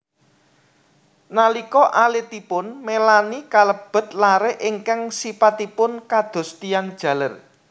Nalika alitipun Melaney kalebet lare ingkang sipatipun kados tiyang jaler